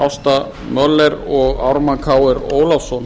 ásta möller og ármann krónu ólafsson